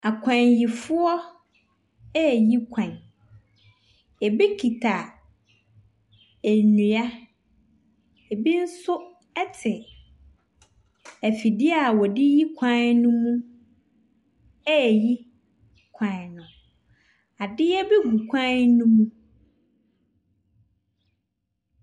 Akwanyifoɔ ɛɛyi kwan. Ɛbi kita ɛnua, ɛbi nso ɛte afidie a wɔde yi kwan ne mu ɛɛyi kwan no. Adeɛ bi gu kwan ne mu.